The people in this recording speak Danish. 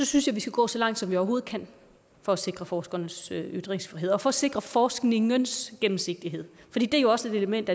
synes vi skal gå så langt som vi overhovedet kan for at sikre forskernes ytringsfrihed og for at sikre forskningens gennemsigtighed det er jo også et element